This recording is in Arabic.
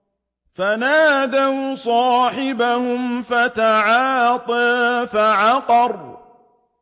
فَنَادَوْا صَاحِبَهُمْ فَتَعَاطَىٰ فَعَقَرَ